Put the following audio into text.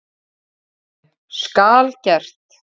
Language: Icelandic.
HÓTELHALDARI: Skal gert.